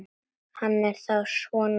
Hann er þá svona ungur.